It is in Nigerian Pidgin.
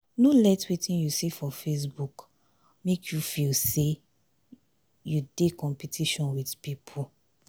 no let wetin you see for facebook make for facebook make you feel say you dey competition with pipu.